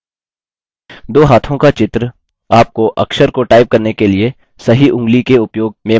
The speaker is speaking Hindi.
दो हाथों का चित्र आपको अक्षर को टाइप करने के लिए सही ऊंगली के उपयोग में मार्गदर्शन करेगा